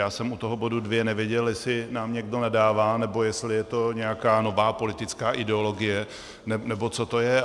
Já jsem u toho bodu 2 nevěděl, jestli nám někdo nadává, nebo jestli je to nějaká nová politická ideologie, nebo co to je.